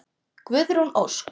Guðrún Ósk.